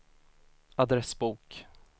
adressbok